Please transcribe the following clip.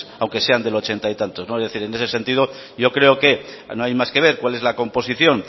aunque sean del ochenta y tantos en ese sentido yo creo que no hay más que ver cuál es la composición